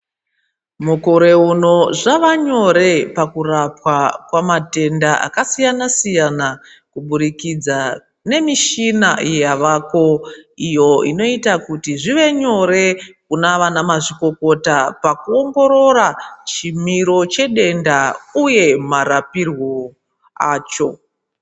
Mukore uno zvavanyore pakurapwa kwamatenda akasiyana siyana kubudikidza nemichina yavako iyo inoita kuti zvive nyore kuna vanamazvikokota pakuongorora chimiro chedenda uye marapirwo acho.